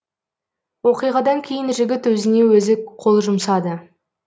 оқиғадан кейін жігіт өзіне өзі қол жұмсады